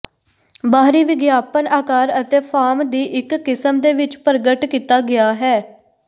ਬਾਹਰੀ ਵਿਗਿਆਪਨ ਆਕਾਰ ਅਤੇ ਫਾਰਮ ਦੀ ਇੱਕ ਕਿਸਮ ਦੇ ਵਿੱਚ ਪ੍ਰਗਟ ਕੀਤਾ ਗਿਆ ਹੈ